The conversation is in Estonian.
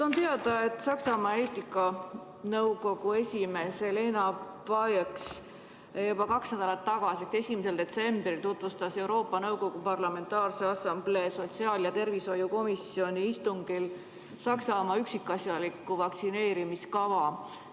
On teada, et Saksamaa eetikanõukogu esimees Alena Buyx tutvustas juba kaks nädalat tagasi, 1. detsembril Euroopa Nõukogu Parlamentaarse Assamblee sotsiaal- ja tervishoiukomisjoni istungil Saksamaa üksikasjalikku vaktsineerimiskava.